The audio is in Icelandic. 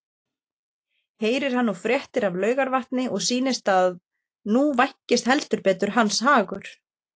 Heyrir hann nú fréttir af Laugarvatni og sýnist að nú vænkist heldur betur hans hagur.